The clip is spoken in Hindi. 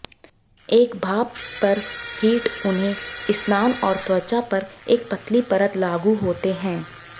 एक भाप पर हीट उन्हें स्नान और त्वचा पर एक पतली परत लागू होते हैं